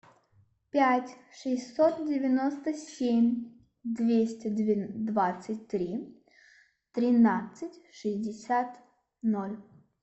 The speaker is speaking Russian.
пять шестьсот девяносто семь двести двадцать три тринадцать шестьдесят ноль